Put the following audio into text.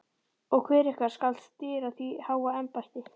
Og hver ykkar skal stýra því háa embætti?